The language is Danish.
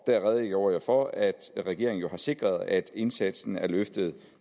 der redegjorde jeg for at regeringen jo har sikret at indsatsen er løftet